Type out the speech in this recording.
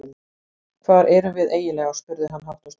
Hvar erum við eiginlega spurði hann hátt og snjallt.